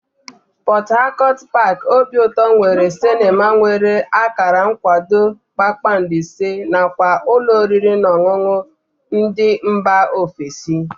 Pọt Hakọt paaki obiụtọ nwere sịnema nwere akara nkwado kpakpando ise nakwa ụlọ oriri na ọṅụṅụ ndị mba ofesi